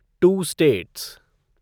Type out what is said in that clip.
to states